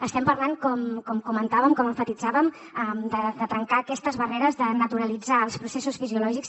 estem parlant com comentàvem com emfatitzàvem de trencar aquestes barreres de naturalitzar els processos fisiològics